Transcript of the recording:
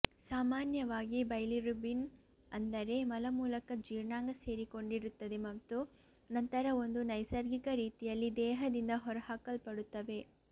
ಸಾಮಾನ್ಯವಾಗಿ ಬೈಲಿರುಬಿನ್ ಅಂದರೆ ಮಲ ಮೂಲಕ ಜೀರ್ಣಾಂಗ ಸೇರಿಕೊಂಡಿರುತ್ತದೆ ಮತ್ತು ನಂತರ ಒಂದು ನೈಸರ್ಗಿಕ ರೀತಿಯಲ್ಲಿ ದೇಹದಿಂದ ಹೊರಹಾಕಲ್ಪಡುತ್ತವೆ